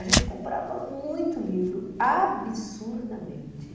A gente comprava muito livro, absurdamente.